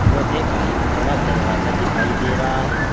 लोहे का एक बड़ा दरवाजा दिखाई दे रहा है।